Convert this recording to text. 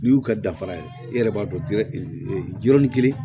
N'i y'u ka dafara ye e yɛrɛ b'a dɔn yɔrɔnin kelen